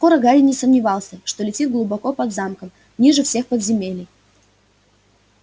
скоро гарри не сомневался что летит глубоко под замком ниже всех подземелий